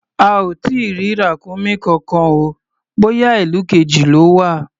A ò tí ì rí ràkúnmí kankan o, bóyá ìlú kejì lọ́ wà.